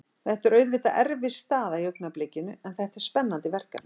Þetta er auðvitað erfið staða í augnablikinu en þetta er spennandi verkefni.